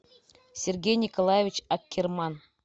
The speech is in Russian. сергей николаевич аккерман